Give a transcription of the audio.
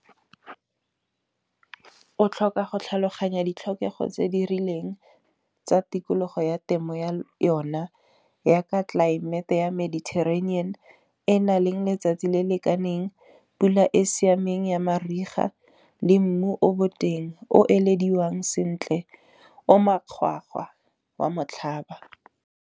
O tlhoka go tlhaloganya ditlhokego tse di rileng tsa tikologo ya temo ya yona, ya ka tlelaemete ya mediterranean. E nang le letsatsi le lekaneng, pula e siameng ya mariga le mmu o boteng. O elediwang sentle o makgwakgwa wa motlhaba.